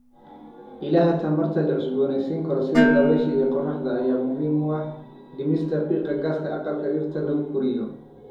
Ilaha tamarta la cusboonaysiin karo, sida dabaysha iyo qorraxda, ayaa muhiim u ah dhimista qiiqa gaaska aqalka dhirta lagu koriyo.